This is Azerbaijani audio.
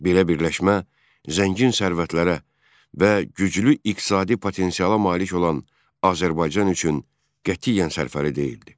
Belə birləşmə zəngin sərvətlərə və güclü iqtisadi potensiala malik olan Azərbaycan üçün qətiyyən sərfəli deyildi.